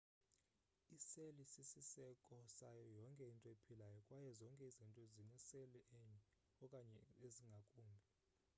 iseli sisiseko sayo yonke into ephilayo kwaye zonke izinto zineseli enye okanye ezingakumbi